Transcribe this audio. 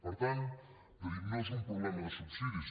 per tant hem de dir que no és un problema de subsidis